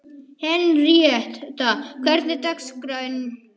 Henríetta, hvernig er dagskráin?